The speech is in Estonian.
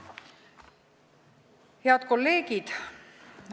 Head kolleegid!